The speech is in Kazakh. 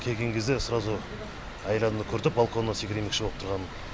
келген кезде сразу әйел адамды көрдік балконнан секірмекші болып тұрғанын